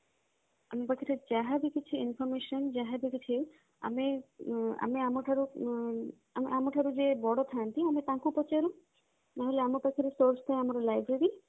ଆମ ପାଖେରେ ଯାହା ବି କିଛି information ଯାହା ବି କିଛି ଆମେ ଆମ ଠାରୁ ଆମେ ଆମ ଠାରୁ ଯେ ବଡ ଥାନ୍ତି ଆମେ ତାଙ୍କୁ ପଚାରୁ ନହେଲେ ଆମ ପାଖରେ source ଥାଏ ଆମ library